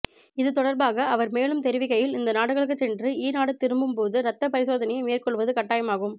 இதுதொடர்பாக அவர் மேலும் தெரிவிக்கையில் இந்த நாடுகளுக்குச் சென்றுஇ நாடு திரும்பும்போது இரத்தப் பரிசோனையை மேற்கொள்வது கட்டாயமாகும்